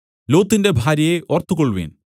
ലോത്തിന്റെ ഭാര്യയെ ഓർത്തുകൊൾവിൻ